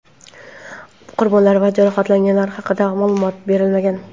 Qurbonlar va jarohatlanganlar haqida ma’lumot berilmagan.